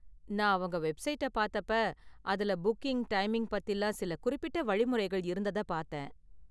நான் அவங்க வெஃப்சைட்டை பார்த்தப்ப அதுல புக்கிங், டைமிங் பத்திலாம் சில குறிப்பிட்ட வழிமுறைகள் இருந்தத பார்த்தேன்.